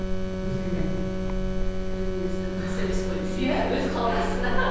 өзіне өзіне өзі қас емес қой десей өз қалтасына